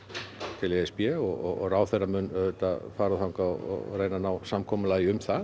til e s b og ráðherra mun auðvitað fara þangað og reyna að ná samkomulagi um það